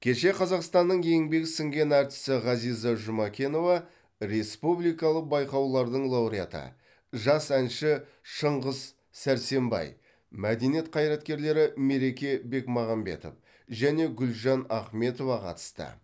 кеше қазақстанның еңбегі сіңген әртісі ғазиза жұмекенова республикалық байқаулардың лауреаты жас әнші шыңғыс сәрсенбай мәдениет қайраткерлері мереке бекмағамбетов және гүлжан ахметова қатысты